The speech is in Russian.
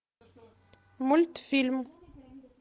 мультфильм